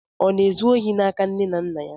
Ọ na-ezu ohi n'aka nne na nna ya?